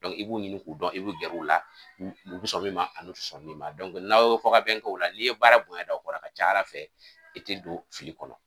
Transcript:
i b'u ɲini k'u dɔn i bɛ gɛrɛ u la u bi sɔn min ani u ti sɔn min ma n'aw ye fɔkabɛn k'o la n'i ye baara bonya da u kɔrɔ a ka ca Ala fɛ i tɛ don fili kɔnɔ